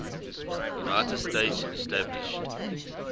united states established